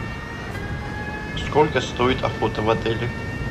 сколько стоит охота в отеле